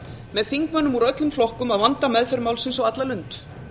með þingmönnum úr öllum flokkum að vanda meðferð málsins á alla lund